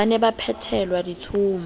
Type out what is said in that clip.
ba ne ba phethelwa ditshomo